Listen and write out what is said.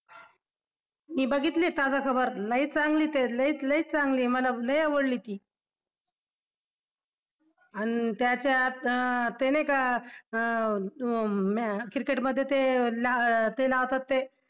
मी बघितली आहे ताजा खबर लई चांगली आहे लईच लईच चांगली आहे मला लई आवडली ती अन त्याच्यात ते नाही का अं cricket मध्ये ते हे लावतात ते